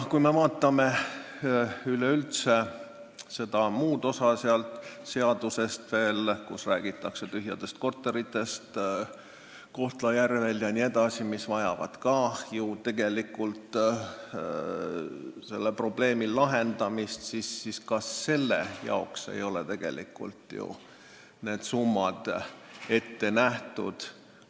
Kui me vaatame muud osa seletuskirjast, kus räägitakse tühjadest korteritest Kohtla-Järvel jne, siis seegi probleem vajab ju lahendamist, aga ka selle jaoks ei ole tegelikult need summad ette nähtud.